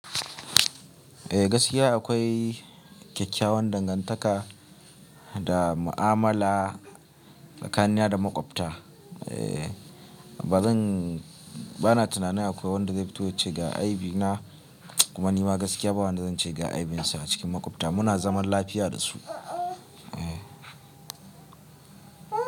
Eh gaskiya akwai kyakkyawan dangantaka da mu'amala tsakanina da makwabta. Eh ba zan bana tunanin akwai wanda zai fito ya ce ga aibi na. Kuma nima gaskiya ba wanda zan ce ga aibinsa a cikin makwabta. Muna zaman lafiya da su. Eh.